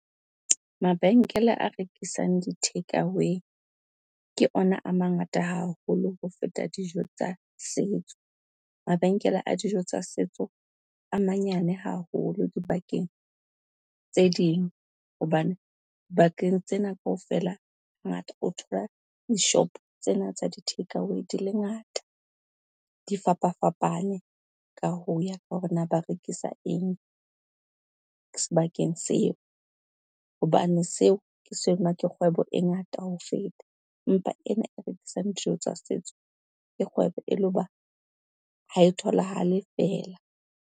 Mabenkele a rekisang di-take away, ke ona a mangata haholo ho feta dijo tsa sentso. Mabenkele a dijo tsa setso a manyane haholo dibakeng tse ding hobane, bakeng tsena kaofela ngata o thola dishopo tsena tsa di-take away di le ngata di fapafapane ka ho ya ka hore na ba rekisa eng, sebakeng seo. Hobane seo ke se ke kgwebo e ngata ho feta, empa ena e rekisang dijo tsa setso ke kgwebo e le ho ba ha e tholahale fela.